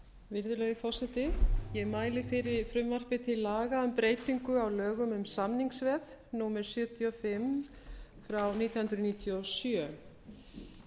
virðulegi forseti ég mæli fyrir frumvarpi til laga um breytingu á lögum um samningsveð númer sjötíu og fimm nítján hundruð níutíu og sjö